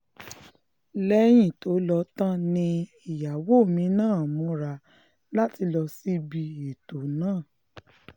lẹ́yìn tó lọ tán ni ìyàwó mi náà múra láti lọ síbi ètò náà